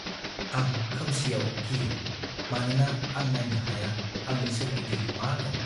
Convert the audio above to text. आं खोमसिआव गियो मानोना आं नायनो हाया आंनि सोरगिदिं मा दं।